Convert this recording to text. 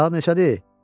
Saat neçədir?